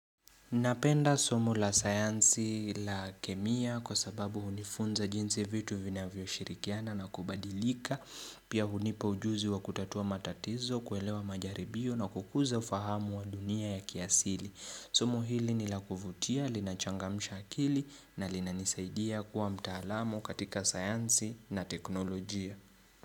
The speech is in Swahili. Napenda somu la sayansi la kemia kwa sababu hunifunza jinsi vitu vinavyoshirikiana na kubadilika, pia hunipa ujuzi wa kutatua matatizo, kuelewa majaribio na kukuza ufahamu wa dunia ya kiasili. Somo hili ni la kuvutia, linachangamsha akili na linanisaidia kuwa mtaalamu katika sayansi na teknolojia.